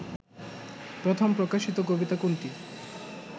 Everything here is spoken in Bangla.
প্রথম প্রকাশিত কবিতা কোনটি